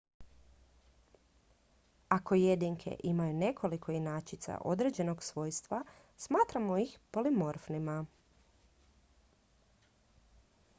ako jedinke imaju nekoliko inačica određenog svojstva smatramo ih polimorfnima